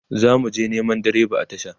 zamuje Neman direban a tasha